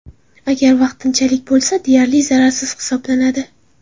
Agar vaqtinchalik bo‘lsa, deyarli zararsiz hisoblanadi.